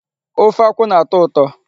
Ofe akwụ na-atọ ụtọ.